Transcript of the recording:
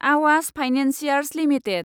Awas financiers limited